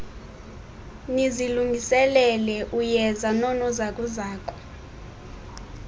nizilungiselele uyeza noonozakuzaku